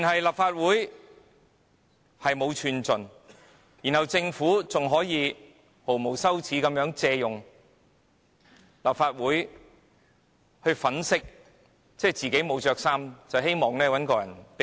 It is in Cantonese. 立法會毫無寸進，更被政府毫無廉耻地借立法會粉飾自己沒穿衣服的真相，希望有人借一件衣服給它。